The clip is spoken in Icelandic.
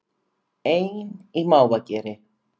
Ein í mávageri